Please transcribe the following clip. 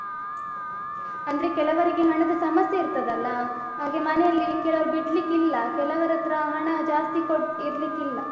ಅಂದ್ರೆ ಕೆಲವರಿಗೆ ಹಣದ ಸಮಸ್ಯೆ ಇರ್ತದಲ್ಲ ಹಾಗೆ ಮನೆಯಲ್ಲಿ ಕೆಲವ್ರು ಬಿಡ್ಲಿಕ್ಕಿಲ್ಲ. ಕೆಲವರತ್ರ ಹಣ ಜಾಸ್ತಿ ಕೋಟ್ ಇರ್ಲಿಕ್ಕಿಲ್ಲ.